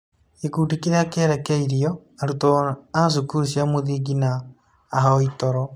Gĩkundi kĩrĩa kĩrerekeirio: Arutwo a cukuru cia mũthingi na ahoi toro.